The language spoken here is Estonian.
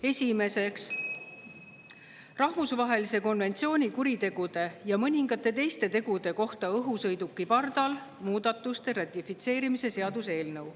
Esimeseks, rahvusvahelise konventsiooni kuritegude ja mõningate teiste tegude kohta õhusõiduki pardal muudatuste ratifitseerimise seaduse eelnõu.